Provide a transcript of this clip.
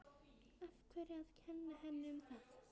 Af hverju að kenna henni um það?